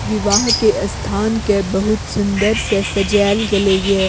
विवाह के स्थान के बहुत सूंदर से सजाएल गएले ये।